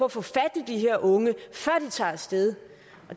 at få fat i de her unge før de tager af sted